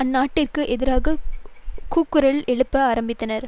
ஆர்நெட்டிற்கு எதிராக கூக்குரல் எழுப்ப ஆரம்பித்தனர்